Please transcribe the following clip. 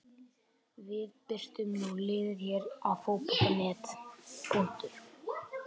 Við birtum nú liðið hér á Fótbolta.net.